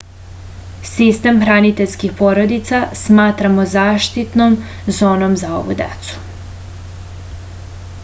sistem hraniteljskih porodica smatramo zaštitnom zonom za ovu decu